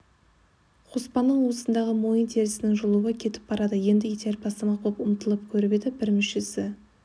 қоспанның уысындағы мойын терісінің жылуы кетіп барады енді итеріп тастамақ боп ұмтылып көріп еді бір мүшесі